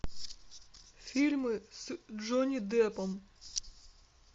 фильмы с джонни деппом